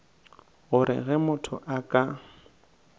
gore ge motho a ka